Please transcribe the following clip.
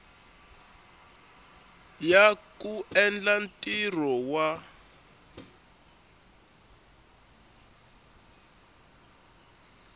ya ku endla ntirho wa